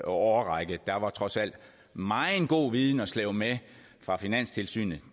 årrække der var trods alt meget god viden at slæbe med fra finanstilsynet